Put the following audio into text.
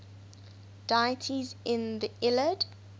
deities in the iliad